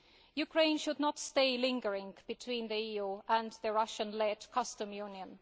side. Ukraine should not stay lingering between the EU and the Russian led customs union.